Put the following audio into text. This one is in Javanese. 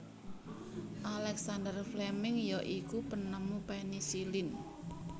Alexander Fleming ya iku penemu penisilin